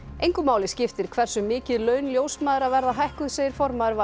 engu máli skiptir hversu mikið laun ljósmæðra verða hækkuð segir formaður v